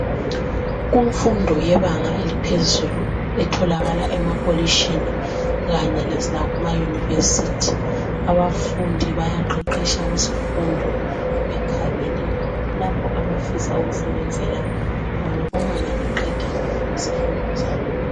Kumfundo yebanga eliphezulu etholakala emakolitshini kanye lasemayunivesithi abafundi bayaqeqetsha kuzifundo bekhangele lapho abafisa ukusebenzela khona uma bengaqeda izifundo zabo.